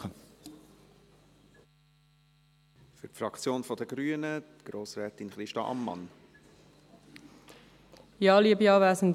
Für die Fraktion der Grünen hat Grossrätin Ammann das Wort.